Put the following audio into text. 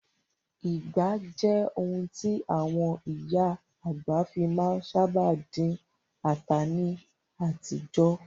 Ìgbá jẹ́ ohun tí àwọn ìyá àgbà fi má ń sábà dín ata ní àtijọ́.